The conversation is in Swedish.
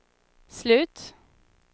slut